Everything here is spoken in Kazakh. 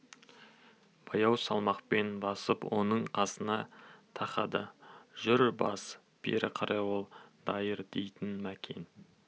баяу салмақпен басып оның қасына тақады жүр бас бері қарай ол дайыр дейтін мәкен